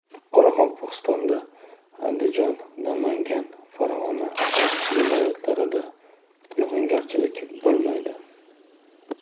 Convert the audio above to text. Qoraqalpog‘istonda, Andijon, Namangan, Farg‘ona viloyatlarida yog‘ingarchilik bo‘lmaydi.